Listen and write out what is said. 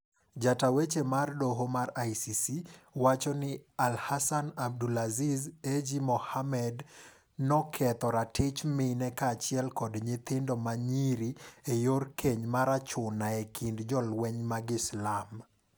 Ja taa weche marg doo mar ICC, wacho ni Al Hassan Ag Abdoul Aziz Ag Mohamed, noketho ratich mine ka achiel kod nyithindo ma nyiri e yor keny mar achuna e kind jolweny mag Islam.